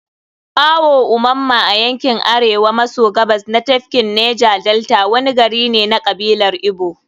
Awo-Omamma, a yankin Arewa maso Gabas na tafkin Neja-Delta. wani gari ne na kabilar Igbo.